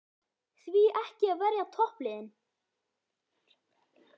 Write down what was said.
Því ekki að verja toppliðin?